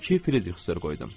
İki Fridrixsür qoydum.